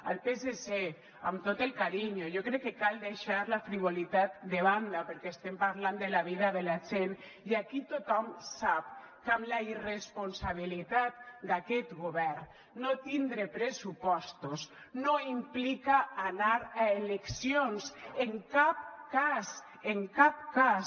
al psc amb tot el carinyo jo crec que cal deixar la frivolitat de banda perquè estem parlant de la vida de la gent i aquí tothom sap que amb la irresponsabilitat d’aquest govern no tindre pressupostos no implica anar a eleccions en cap cas en cap cas